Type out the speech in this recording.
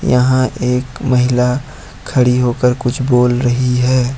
यहां एक महिला खड़ी होकर कुछ बोल रही है।